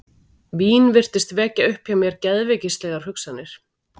Vín virtist vekja upp hjá mér geðveikislegar hugsanir.